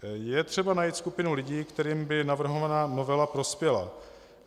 Je třeba najít skupinu lidí, kterým by navrhovaná novela prospěla.